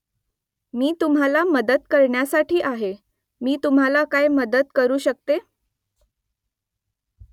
मी तुम्हाला मदत करण्यासाठी आहे . मी तुम्हाला काय मदत करू शकते ?